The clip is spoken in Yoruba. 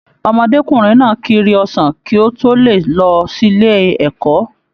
Ọmọdékunrin náà kíri ọsàn kí o to lè lọ sílé ẹ̀kọ́.